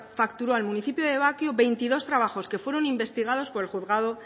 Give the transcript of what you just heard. facturó al municipio de bakio veintidós trabajos que fueron investigados por el juzgado